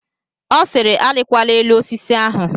Ọ sịịrị, arịkwala elu osisi ahụ!